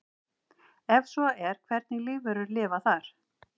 Ef svo er hvernig lífverur lifa þar?